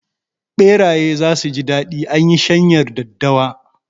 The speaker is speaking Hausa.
Ɓeraye zasu ji daɗi anyi shanyar daddawa